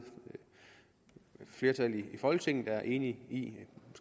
flertal i folketinget er enige